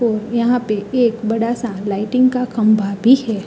पो यहाँ पे एक बडा सा लाइटिंग का खंबा भी है।